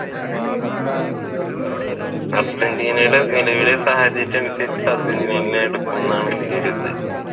അർജന്റീനയുടെ നിലവിലെ സാഹചര്യം അനുസരിച്ചു അര്ജന്റീനയായിരിക്കും എന്നാണ് എന്റെ ഒരു ഇത്.